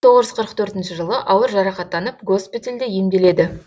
мың тоғыз жүз қырық төртінші жылы ауыр жарақаттанып госпитальде емделеді